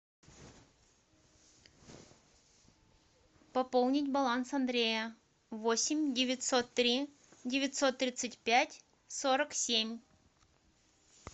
пополнить баланс андрея восемь девятьсот три девятьсот тридцать пять сорок семь